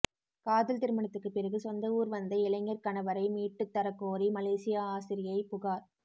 காதல் திருமணத்துக்குப் பிறகு சொந்த ஊா் வந்த இளைஞா்கணவரை மீட்டுத் தரக் கோரி மலேசிய ஆசிரியை புகாா்